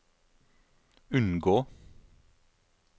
unngå